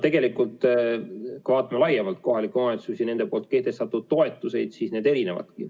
Tegelikult, kui vaatame laiemalt kohalikke omavalitsusi ja nende kehtestatud toetusi, siis need on erinevad.